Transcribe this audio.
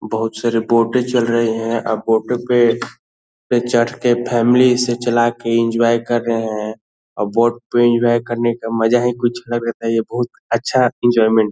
बहुत सारे बोटे चल रहे हैं आ बोट पे चढ़ के फैमिली इसे चला के एन्जॉय कर रहे हैं आ बोट पे एन्जॉय करने का मजा ही कुछ अलग होता हैं ये बहुत अच्छा एंजोयमेंट --